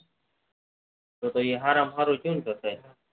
તો તો એ હરામાંહારું થયું ને તો તો એ